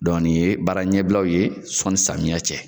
nin ye baara ɲɛbilaw ye sɔnni samiyɛ cɛ.